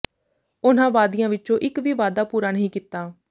ਉਨ੍ਹਾਂ ਵਾਅਦਿਆਂ ਵਿਚੋਂ ਇੱਕ ਵੀ ਵਾਅਦਾ ਪੂਰਾ ਨਹੀਂ ਕੀਤਾ